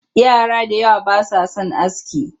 Yara da yawa ba sa son aski